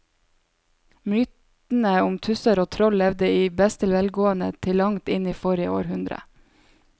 Mytene om tusser og troll levde i beste velgående til langt inn i forrige århundre.